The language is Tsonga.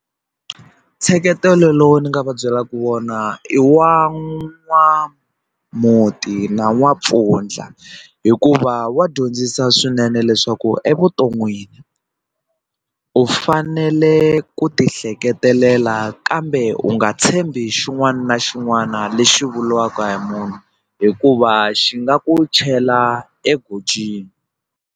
Nseketelo lowu ni nga va byelaka wona i wa n'wamhunti na n'wampfundla hikuva wa dyondzisa swinene leswaku evuton'wini u fanele ku ti ehleketelela kambe u nga tshembi xin'wana na xin'wana lexi vuriwaka hi munhu hikuva xi nga ku chela egojini.